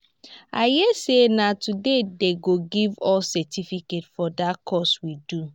i hear say na today dey go give us certificate for dat course we do